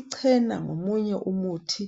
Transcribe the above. Icena ngomunye umuthi